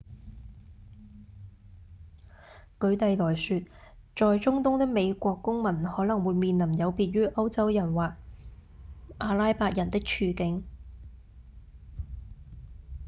舉例來說在中東的美國公民可能會面臨有別於歐洲人或阿拉伯人的處境